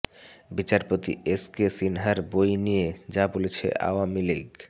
বিচারপতি S K সিনহার বই নিয়ে যা বলছে আওয়ামী লীগ